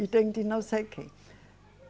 E tem de não sei o quê.